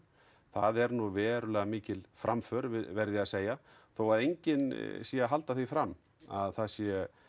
það er nú verulega mikil framför verð ég að segja þó að enginn sé að halda því fram að það sé